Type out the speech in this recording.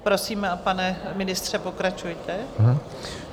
Prosím, pane ministře, pokračujte.